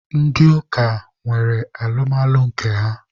Ndị ụka nwere alụmalụ nke ha